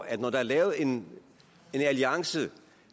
at når der er lavet en alliance